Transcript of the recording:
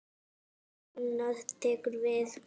Og annað tekur við.